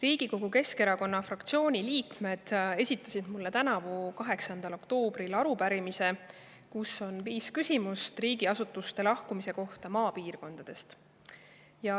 Riigikogu Keskerakonna fraktsiooni liikmed esitasid mulle tänavu 8. oktoobril arupärimise, kus on viis küsimust riigiasutuste lahkumise kohta maapiirkondadest.